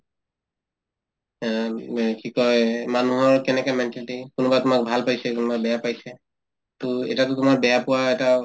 অ, কি কই এই মানুহৰ কেনেকে mentality কোনোবাই তোমাক ভাল পাইছে কোনোবাই বেয়া পাইছে to এতিয়াতো তোমাৰ বেয়া পোৱা এটা